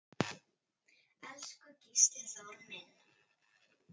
Elsku Gísli Þór minn.